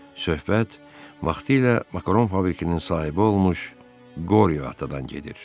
Söhbət vaxtilə makaron fabrikinin sahibi olmuş Qoryo atadan gedir.